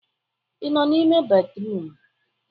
Ị nọ n'ime bédrụum?